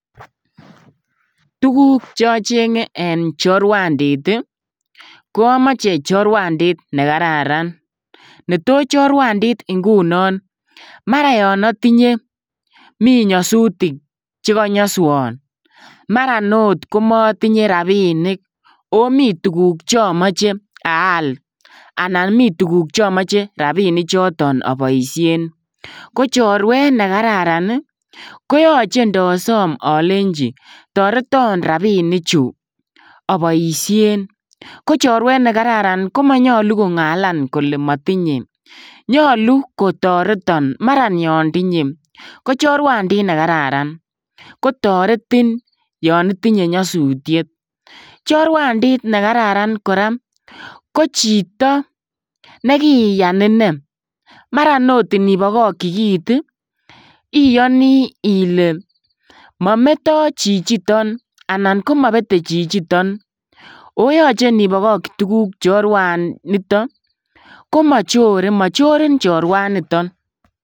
Tuguk cheochengen en choruandit ii ,ko omoche choruandit nekararan neto choruandit ingunon maran minyosutik chekonyoswon maran oot komotinye rabinik oo miten tufuk chomoche aal anan mituguk chemoche rabinichoton oboisien, ko choruet nekararan ii koyoche ndosom olenji toreton rabinichu oboisien ko choruet nekararan komonyolu kongalan kole motinye nyolu kotoreton maran yon tinye, lo choruandit nekararan kotoreti yon itinyee nyosutiet, choruandit nekararan koraa kochito nekiiyan inee, maran inibokokchi kit ii iyoni ile mometo chichiton anan komobete chichiton oo yoche inibokokchi tuguk choruanito komochore mochorin choruanito.